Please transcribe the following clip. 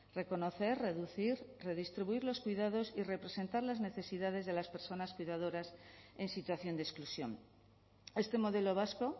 reconocer reducir redistribuir los cuidados y representar las necesidades de las personas cuidadoras en situación de exclusión este modelo vasco